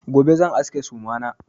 Gobe zan aske suma na.